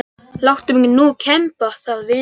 Láttu mig nú kemba það vinan.